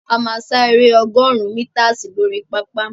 A máa sá eré ọgọ́rùn-ún mítasì lórí pápá.